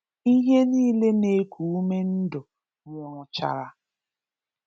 Íhè niile na-ékù ume ndụ nwụrụ chàrà.